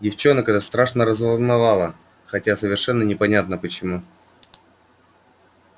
девчонок это страшно разволновало хотя совершенно непонятно почему